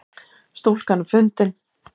Stúlkan er fundin